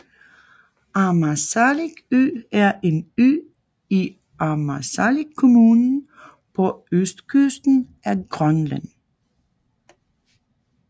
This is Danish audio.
Ammassalik Ø er en ø i Ammassalik Kommune på østkysten af Grønland